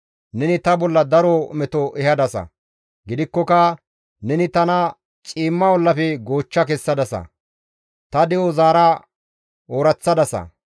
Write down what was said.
Neni ta bolla daro meto ehadasa; gidikkoka neni tana ciimma ollafe goochcha kessadasa; ta de7o zaara ooraththadasa.